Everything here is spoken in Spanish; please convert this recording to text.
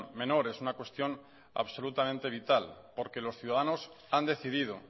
menor es una cuestión absolutamente vital porque los ciudadanos han decidido